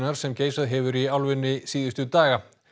sem geisað hefur í álfunni síðustu daga